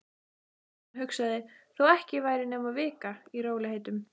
Hann hugsaði: Þó ekki væri nema vika. í rólegheitum.